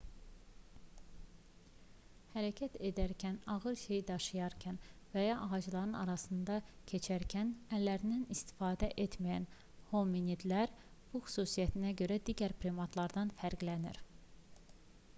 hərəkət edərkən ağır bir şey daşıyarkən və ya ağacların arasından keçərkən əllərindən istifadə etməyən hominidlər bu xüsusiyyətinə görə digər primatlardan fərqlənir